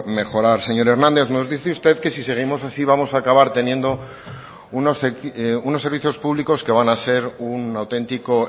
mejorar señor hernández nos dice usted que si seguimos así vamos a acabar teniendo unos servicios públicos que van a ser un auténtico